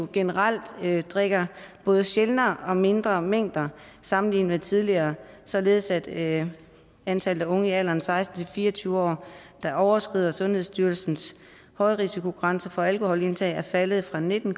generelt drikker både sjældnere og mindre mængder sammenlignet med tidligere således at antallet af unge i alderen seksten til fire og tyve år der overskrider sundhedsstyrelsens højrisikogrænse for alkoholindtag er faldet fra nitten